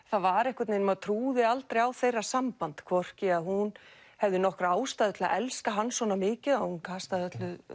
það var einhvern veginn maður trúði aldrei á þeirra samband hvorki að hún hefði nokkra ástæðu til að elska hann svona mikið að hún kastaði